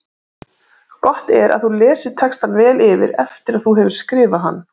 Gott er að þú lesir textann vel yfir eftir að þú hefur skrifað hann.